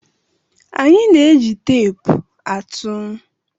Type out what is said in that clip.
Anyị na-eji teepu atụ.